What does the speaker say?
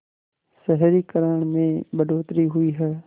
शहरीकरण में बढ़ोतरी हुई है